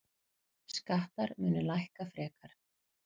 Skattar munu lækka frekar.